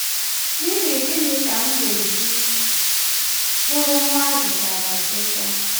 N’ihi gịnị ka m ga-eji bụrụ nwa a zụtara azụta?